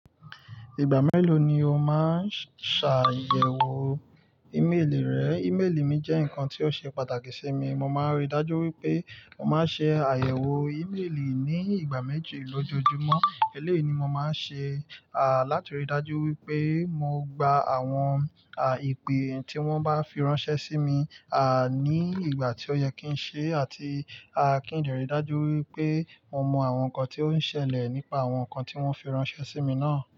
Ìgbà mélòó ni o máa ń ṣàyẹ̀wò ímélì rẹ? Ímélì mi jẹ́ nǹkan tí ó ṣe pàtàkì sí mi. Mo máa ń rí i dájú wípé mo máa ń ṣe àyẹ̀wò ímélì ní ìgbà méjì lójoojúmọ́. Eléyìí ni mo máa ń ṣe, à, láti rí i dájú wípé mo gba àwọn, à, ìpè tí wọ́n bá fi ránṣẹ́ sí mi, à, ní ìgbà tí ó yẹ kí ń ṣe àti, à, kí ń lè rí i dájú wípé mo mọ àwọn nǹkan tí ó ń ṣẹlẹ̀ nípa àwọn nǹkan tí wọ́n fi ránṣẹ́ sí mi náà.